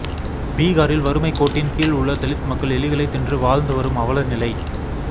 பீகாரில் வறுமை கோட்டின் கீழ் உள்ள தலித் மக்கள் எலிகளை தின்று வாழந்து வரும் அவலநிலை